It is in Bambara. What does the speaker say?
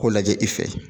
K'o lajɛ i fɛ